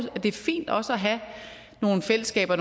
det er fint også at have nogle fællesskaber